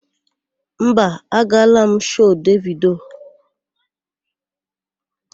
Mba, agaala m shoo Devido.